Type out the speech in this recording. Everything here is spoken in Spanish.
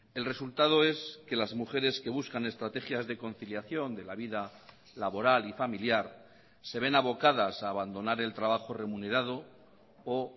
el resultado es que las mujeres que buscan estrategias de conciliación de la vida laboral y familiar se ven abocadas a abandonar el trabajo remunerado o